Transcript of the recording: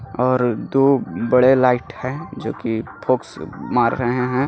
और दो बड़े लाइट है जो कि फॉक्स मार रहे है.